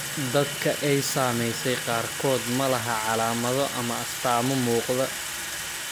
Dadka ay saamaysay qaarkood ma laha calaamado ama astaamo muuqda.